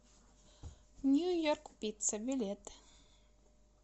нью йорк пицца билет